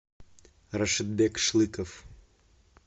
рашидбек шлыков